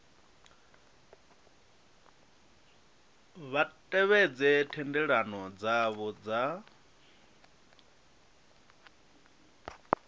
vha tevhedze thendelano dzavho dza